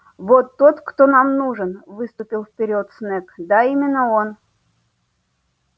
вот тот кто нам нужен выступил вперёд снегг да именно он